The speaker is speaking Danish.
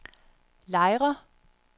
Lejre